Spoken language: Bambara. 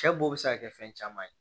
Cɛ bo se ka kɛ fɛn caman ye